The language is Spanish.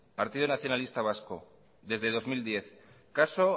partido nacionalista vasco desde el dos mil diez caso